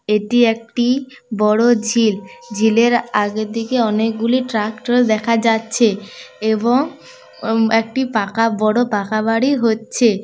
এটি একটি বড়ো ঝিল ঝিলের আগের দিকে অনেকগুলি ট্রাক্টর দেখা যাচ্ছে এবং উম একটি পাকা বড়ো পাকা বাড়ি হচ্ছে।